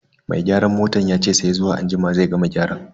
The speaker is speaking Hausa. Mai gyaran motan yace sai zuwa anjima zai gama gyaran.